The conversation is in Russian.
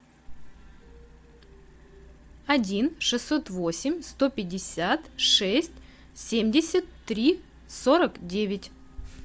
один шестьсот восемь сто пятьдесят шесть семьдесят три сорок девять